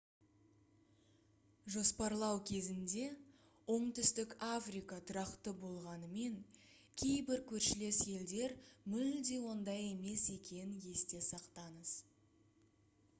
жоспарлау кезінде оңтүстік африка тұрақты болғанымен кейбір көршілес елдер мүлде ондай емес екенін есте сақтаңыз